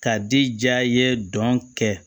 Ka di ja ye dɔn kɛ